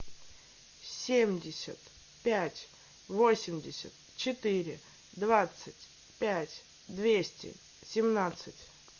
семьдесят пять восемьдесят четыре двадцать пять двести семнадцать